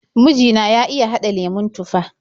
Miji na ya iya haɗa lemon tufah.